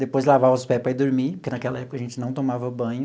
Depois lavava os pés para ir dormir, porque naquela época a gente não tomava banho.